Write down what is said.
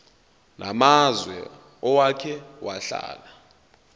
namazwe owake wahlala